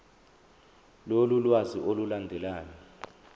lolu lwazi olulandelayo